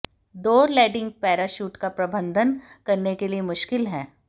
दौर landing parachute का प्रबंधन करने के लिए मुश्किल है